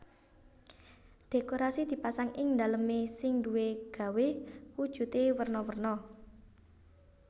Dhékorasi dipasang ing dalemé sing duwé gawé wujudé werna werna